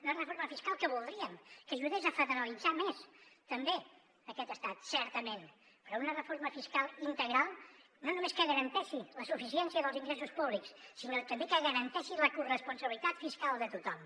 una reforma fiscal que voldríem que ajudés a federalitzar més també aquest estat certament però una reforma fiscal integral no només que garanteixi la suficiència dels ingressos públics sinó també que garanteixi la corresponsabilitat fiscal de tothom